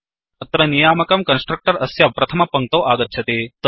अत्र नियामकं कन्स्ट्रक्टर् अस्य प्रथमपङ्क्तौ आगच्छति